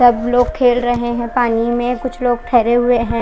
सब लोग खेल रहे है पानी में कुछ लोग ठहरे हुए है।